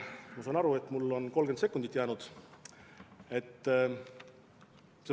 Ma saan aru, et mulle on vaid 30 sekundit jäänud.